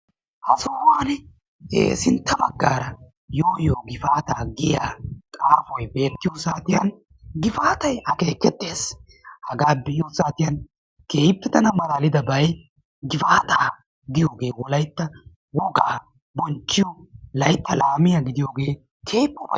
Ha sohuwan sintta baggara yoo yoo gifaata giyaa xuufoy beettiyo saatiyaan giffatay akeekestees. haga be'iyo saatiyaan keehippe tana malalidabay gifaatay Wolayttan wogaa bonchchiyo laytta laamiyaa gidooge keehippe ufaysses.